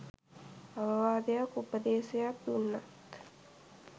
අවවාදයක් උපදේසයක් දුන්නත්